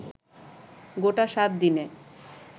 গোটা সাতদিনে